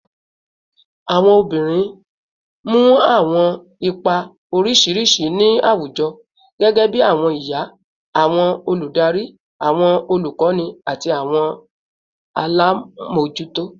Awọn obinrin mu awọn ipa oriṣiriṣi mu ni awujọ, gẹgẹbi awọn iya, awọn oludari, awọn olukọni, ati awọn alamojuto